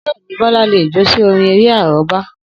Bẹ́ẹ̀ni, Bọlá lè jó sí orin-eré àrọ́bá.